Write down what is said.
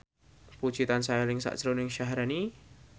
Puji tansah eling sakjroning Syaharani